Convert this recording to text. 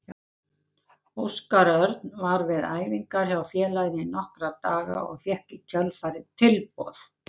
Óskar Örn var við æfingar hjá félaginu í nokkra daga og fékk í kjölfarið tilboð.